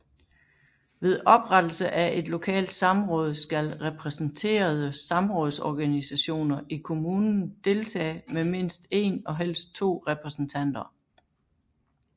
Ved oprettelse af et lokalt samråd skal repræsenterede samrådsorganisationer i kommunen deltage med mindst 1 og helst 2 repræsentanter